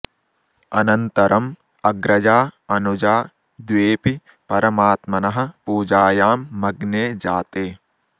अनन्तरम् अग्रजा अनुजा द्वेऽपि परमात्मनः पूजायां मग्ने जाते